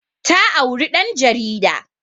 Ta auri ɗan jarida